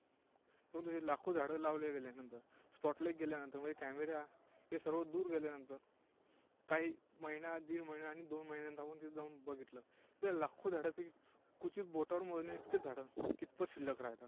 परंतु ती लाखो झाडं लावले गेल्यानंतर, spotlight गेल्यानंतर, म्हणजे camera, हे सर्व दूर गेल्यानंतर काही महिना, दीड महिना, आणि दोन महिन्यांनंतर आपण तिथे जाऊन बघितलं, तर लाखो झाडांपैकी क्वचित बोटांवर मोजण्याइतकीच झाडं कितपत शिल्लक राहतात.